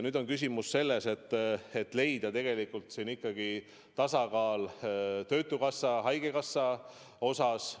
Nüüd on küsimus selles, et leida ikkagi tasakaal töötukassa ja haigekassa osas.